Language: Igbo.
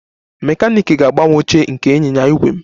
Mekaniiki ga-agbanwe oche nke ịnyịnya ígwè m